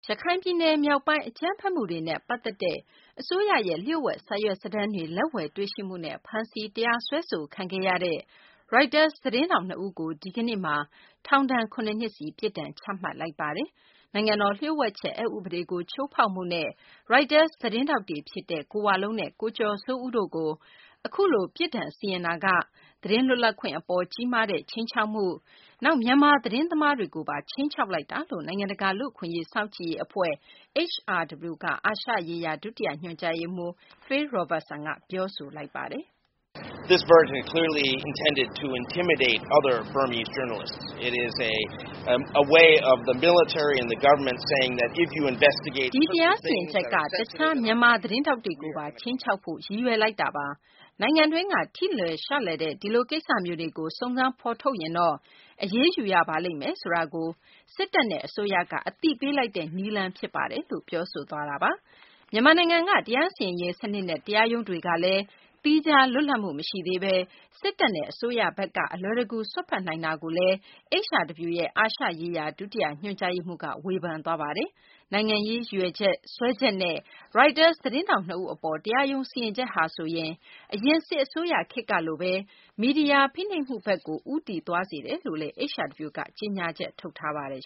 ရခိုင်ပြည်နယ် မြောက်ပိုင်း အကြမ်းဖက်မှုတွေနဲ့ ပတ်သက်တဲ့ အစိုးရရဲ့ လျှို့ဝှက် စာရွက်စာတမ်းတွေ လက်ဝယ်တွေ့ရှိမှုနဲ့ ဖမ်းဆီး တရားစွဲဆိုခံရတဲ့ ရိုက်တာ သတင်းထောက် နှစ်ဦးကို ဒီကနေ့ ထောင်ဒဏ် ၇ နှစ်စီ ပြစ်ဒဏ်ချမှတ်လိုက်ပါတယ်။ နိုင်ငံတော် လျို့ဝှက်ချက် အက်ဥပဒေကို ချိုးဖောက်မှုနဲ့ ရိုက်တာ သတင်းထောက် ကိုဝလုံးနဲ့ ကိုကျော်စိုးဦးတို့ကို အခုလို ပြစ်ဒဏ်စီရင်လိုက်တာက သတင်းလွတ်လပ်ခွင့် အပေါ် ကြီးမားတဲ့ ခြိမ်းခြောက်မှု ဖြစ်သလို မြန်မာ သတင်းသမားတွေကိုပါ ခြိမ်းခြောက်လိုက်တာလို့ နိုင်ငံတကာ လူ့အခွင့်အရေး စောင့်ကြည့်ရေး အဖွဲ့ HRW က အာရှရေးရာ ဒုတိယ ညွှန်ကြားရေးမှူး Phil Robertson က ပြောဆိုလိုက်ပါတယ်။ "ဒီတရားစီရင်ချက်က တခြား မြန်မာ သတင်းထောက်တွေကိုပါ ခြိမ်းခြောက်ဖို့ ရည်ရွယ်တာပါ။ နိုင်ငံတွင်းက ထိလွယ်ရှလွယ်တဲ့ ဒီလို ကိစ္စမျိုးတွေကို စုံစမ်းဖော်ထုတ်ရင်တော့ အရေးယူရပါလိမ့်မယ်ဆိုတာကို စစ်တပ်နဲ့ အစိုးရက အသိပေးတဲ့ နည်းလမ်း ဖြစ်တယ်လို့ ပြောဆိုခဲ့တာပါ။" မြန်မာနိုင်ငံက တရားစီရင်ရေး စနစ်နဲ့ တရားရုံးတွေကလည်း သီးခြား လွတ်လပ်မှု မရှိသေးဘဲ စစ်တပ်နဲ့ အစိုးရဘက်က အလွယ်တကူ စွက်ဖက်နိုင်တယ်လို့လည်း HRW ရဲ့ အာရှရေးရာ ဒုတိယ ညွှန်ကြားရေးမှူး Phil Robertson က ဝေဖန်ပါတယ်။ နိုင်ငံရေး ရည်ရွယ်ချက်နဲ့ စွဲချက်နဲ့ ရိုက်တာ သတင်းထောက် နှစ်ဦး အပေါ် တရားရုံး စီရင်ချက်ဟာ ဆိုရင် အရင် စစ်အစိုးရခေတ်ကလို မီဒီယာ ဖိနှိပ်မှုဘက်ကို ပြန်ရောက်သွားတာလို့လည်း HRW က ကြေညာချက် ထုတ်ပါတယ်